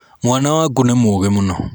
mwana waku nĩ mũgĩ mũno.